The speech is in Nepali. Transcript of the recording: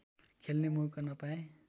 खेल्ने मौका नपाए